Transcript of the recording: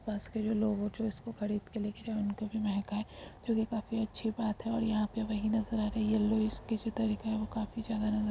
पास के जो लोग होते उसको खरीद के जो की कभी महक आए जोकी काफी अच्छी बात है और यहा पे वही नज़र आ रही है। काफी ज्यादा नज़र--